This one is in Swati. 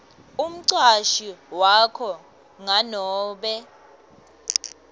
umcashi wakho nganobe